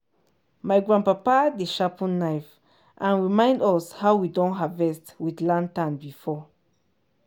my grandpapa dey sharpen knife and remind us how we don harvest with lantern before.